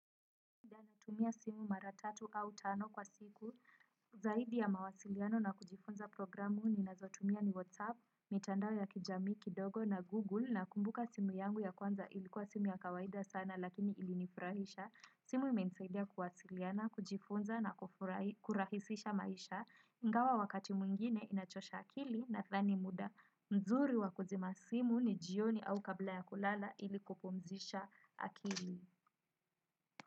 Natumia simu mara tatu au tano kwa siku zaidi ya mawasiliano na kujifunza programu ninazotumia ni WhatsApp, mitandao ya kijamii kidogo na Google nakumbuka simu yangu ya kwanza ilikuwa simu ya kawaida sana lakini ilinifurahisha. Simu imensaidia kuwasiliana, kujifunza na kurahisisha maisha ingawa wakati mwingine inachosha akili nathani muda mzuri wa kuzima simu ni jioni au kabla ya kulala ili kupumzisha akili.